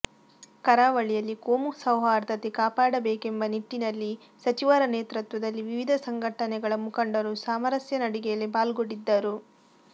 ಕರಾವಳಿಯಲ್ಲಿ ಕೋಮು ಸೌಹಾರ್ದತೆ ಕಾಪಾಡಬೇಕೆಂಬ ನಿಟ್ಟಿನಲ್ಲಿ ಸಚಿವರ ನೇತೃತ್ವದಲ್ಲಿ ವಿವಿಧ ಸಂಘಟನೆಗಳ ಮುಖಂಡರು ಸಾಮರಸ್ಯ ನಡಿಗೆಯಲ್ಲಿ ಪಾಲ್ಗೊಂಡಿದ್ದರು